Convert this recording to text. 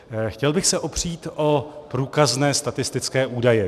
Chtěl bych se opřít o průkazné statistické údaje.